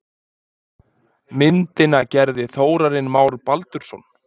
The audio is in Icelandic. Myndina gerði Þórarinn Már Baldursson.